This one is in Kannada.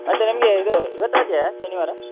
ಮತ್ತೆ ನಿಮ್ಗೆ ಇದು ಇವತ್ತು ರಜೆಯ ಶನಿವಾರ?